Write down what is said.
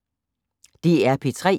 DR P3